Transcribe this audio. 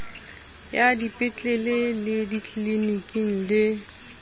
ya dipetlele le ditliliniki le